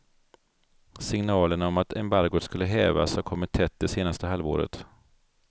Signalerna om att embargot skulle hävas har kommit tätt det senaste halvåret.